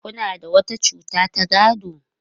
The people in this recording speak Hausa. Kuna da wata cuta ta gado?